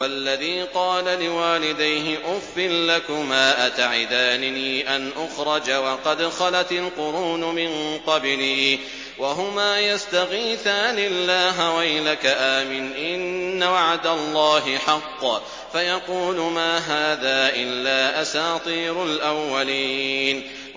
وَالَّذِي قَالَ لِوَالِدَيْهِ أُفٍّ لَّكُمَا أَتَعِدَانِنِي أَنْ أُخْرَجَ وَقَدْ خَلَتِ الْقُرُونُ مِن قَبْلِي وَهُمَا يَسْتَغِيثَانِ اللَّهَ وَيْلَكَ آمِنْ إِنَّ وَعْدَ اللَّهِ حَقٌّ فَيَقُولُ مَا هَٰذَا إِلَّا أَسَاطِيرُ الْأَوَّلِينَ